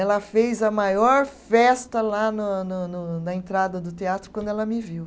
Ela fez a maior festa lá no no no no, na entrada do teatro quando ela me viu.